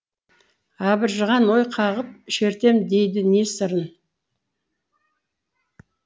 абыржыған ой қағып шертем дейді не сырын